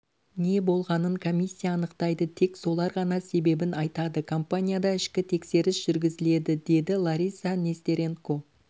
не болғанын комиссия анықтайды тек солар ғана себебін айтады компанияда ішкі тексеріс жүргізіледі деді лариса нестеренко